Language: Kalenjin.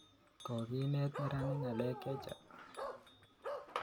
Kokenet meranik ng'alek chechang'